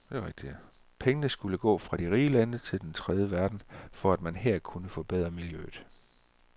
Pengene skulle gå fra de rige lande til den tredje verden, for at man her kunne forbedre miljøet.